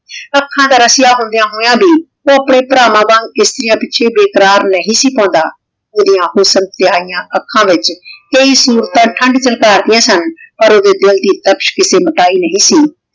ਆਖਾਂ ਦਾ ਰਾਸ੍ਯਾ ਹੋੰਦ੍ਯਾਂ ਹੋਯਾ ਵੀ ਊ ਅਪਨੇ ਪ੍ਰਵਾਨ ਵਾਂਗ ਕਿਸ਼੍ਤਿਯਾਂ ਪਿਛੇ ਬੇਕ਼ਰਾਰ ਨਹੀ ਸੀ ਪਾਉਂਦਾ ਓਦਿਯਾਂ ਹੁਸਨ ਤੇ ਈਯਾਨ ਆਖਾਂ ਵਿਚ ਕਈ ਸੁਰਤਾਂ ਠੰਡ ਵੀ ਤਾਰ੍ਦਿਯਾਂ ਸਨ ਪਰ ਓਡੀ ਦਿਲ ਦੀ ਤਖ਼ਤ ਤੇ ਨਹੀ ਸੀ